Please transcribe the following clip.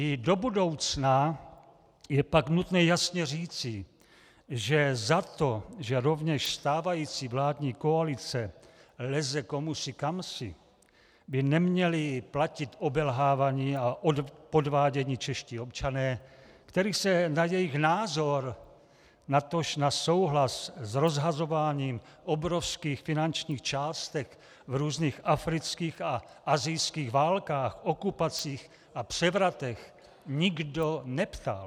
I do budoucna je pak nutné jasně říci, že za to, že rovněž stávající vládní koalice leze komusi kamsi, by neměli platit obelhávaní a podvádění čeští občané, kterých se na jejich názor, natož na souhlas s rozhazováním obrovských finančních částek v různých afrických a asijských válkách, okupacích a převratech nikdo neptal.